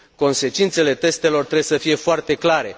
Consecințele testelor trebuie să fie foarte clare.